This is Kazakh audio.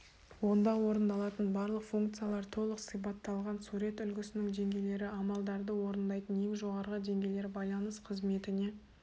онда орындалатын барлық функциялар толық сипатталған сурет үлгісінің деңгейлері амалдарды орындайды ең жоғарғы деңгейлер байланыс қызметіне